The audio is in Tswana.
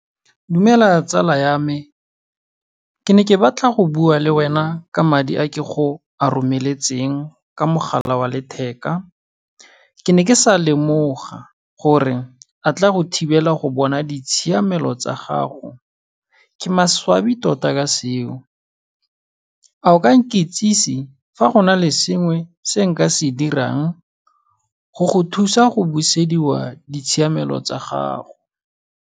Dumela tsala ya me, ke ne ke batla go bua le wena ka madi a ke go a romeletseng ka mogala wa letheka. Ke ne ke sa lemoga gore a tla go thibela go bona ditshiamelo tsa gago, ke maswabi tota ka seo. A o ka nkitsise fa go na le sengwe se nka se dirang go go thusa go busediwa ditshiamelo tsa gago.